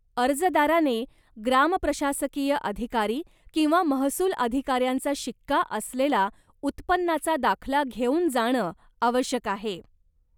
अर्जदाराने ग्राम प्रशासकीय अधिकारी किंवा महसूल अधिकाऱ्यांचा शिक्का असलेला उत्पन्नाचा दाखला घेऊन जाणं आवश्यक आहे.